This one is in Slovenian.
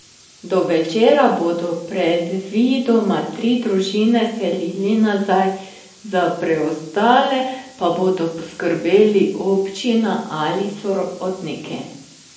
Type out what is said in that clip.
Do večera bodo predvidoma tri družine vselili nazaj, za preostale pa bodo poskrbeli občina ali sorodniki.